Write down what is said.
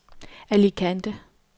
Alicante